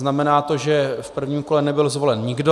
Znamená to, že v prvním kole nebyl zvolen nikdo.